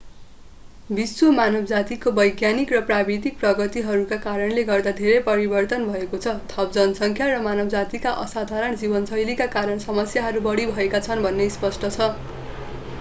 विश्व मानवजातिको वैज्ञानिक र प्राविधिक प्रगतिहरूका कारणले गर्दा धेरै परिवर्तन भएको छ थप जनसङ्ख्या र मानवजातीका असाधारण जीवनशैलीका कारण समस्याहरू बढी भएका छन् भन्ने स्पष्ट छ